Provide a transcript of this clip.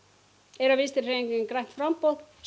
er að Vinstrihreyfingin grænt framboð